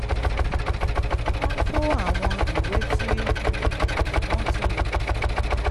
wọ́n kó àwọn ìwé tí um wọ́n ti lò